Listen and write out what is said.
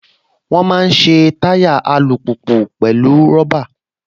Wọ́n máa ń ṣe táyà alùpùpù pẹ̀lú rọ́bà